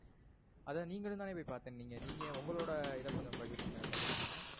அத நீங்களும் தான போய் பாத்தன்னீங்க. நீங்க உங்களோட இத கொஞ்சம் பகிருங்க. பகிர முடியுமா?